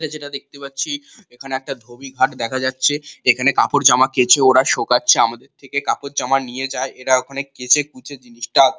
ইটা যেটা দেখতে পাচ্ছি এখানে একটা ধোবি ঘাট দেখা যাচ্ছে যেখানে কাপড়জামা কেচেওরা সকাচ্ছে আমাদের থেকে কাপড় জামা নিয়ে যায় এরা ওখানে কেচেকুচে জিনিসটা।